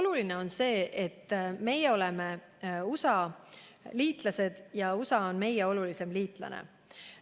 Oluline on see, et meie oleme USA liitlane ja USA on meie olulisim liitlane.